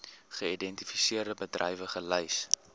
geïdentifiseerde bedrywe gelys